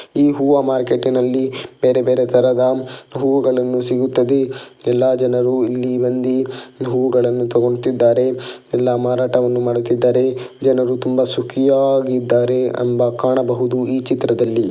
ಈ ಹೂವ ಮಾರ್ಕೆಟ ನಲ್ಲಿ ಬೇರೆ ಬೇರೆ ತರದ ಹೂಗಳನ್ನು ಸಿಗುತ್ತದೆ. ಎಲ್ಲಾ ಜನರು ಇಲ್ಲಿ ಬಂದಿ ಹೂಗಳನ್ನು ತಗೊಣ್ತಿದ್ದಾರೆ. ಎಲ್ಲ ಮಾರಾಟವನ್ನು ಮಾಡುತ್ತಿದ್ದಾರೆ. ಜನರು ತುಂಬ ಸುಖಿಯಾಗಿದ್ದಾರೆ ಎಂಬ ಕಾಣಬಹುದು ಈ ಚಿತ್ರದಲ್ಲಿ.